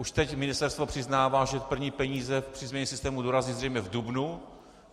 Už teď ministerstvo přiznává, že první peníze při změně systému dorazí zřejmě v dubnu.